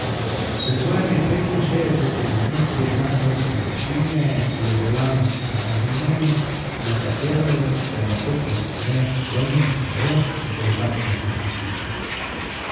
S svojimi petinšestdesetimi metri nadmorske višine je bila na skrajni meji, na katero se lahko povzpne človek brez dodatnega kisika.